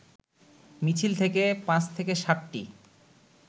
মিছিল থেকে ৫-৭টি